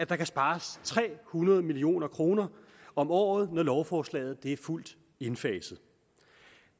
der kan spares tre hundrede million kroner om året når lovforslaget er fuldt indfaset